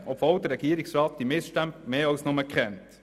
Dies, obwohl der Regierungsrat die Missstände mehr als nur kennt.